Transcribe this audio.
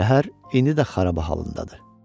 Şəhər indi də xaraba halındadır.